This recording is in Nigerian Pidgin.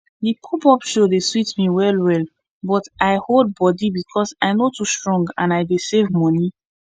the popup show dey sweet me wellwell but i hold body because i no too strong and i dey save money